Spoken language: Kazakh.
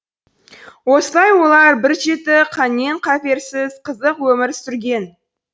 осылай олар бір жеті қаннен қаперсіз қызық өмір сүрген